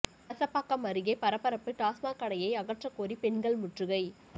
கலசபாக்கம் அருகே பரபரப்பு டாஸ்மாக் கடையை அகற்றக்கோரி பெண்கள் முற்றுகை